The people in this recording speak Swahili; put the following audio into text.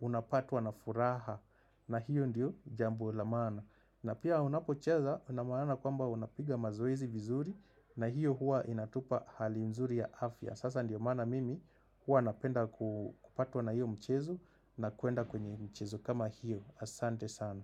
unapatwa na furaha na hiyo ndiyo jambo la mana na pia unapo chaza unamana kwamba unapiga mazoezi vizuri na hiyo hua inatupa hali mzuri ya afya Sasa ndiyo mana mimi hua napenda kupatwa na hiyo mchezo na kuenda kwenye mchezo kama hiyo Asante sana.